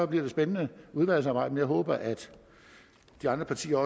bliver et spændende udvalgsarbejde men jeg håber at de andre partier